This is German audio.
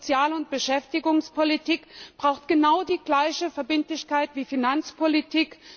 Sozial und Beschäftigungspolitik braucht genau die gleiche Verbindlichkeit wie Finanzpolitik.